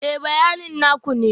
Ee, bayanin na ku ne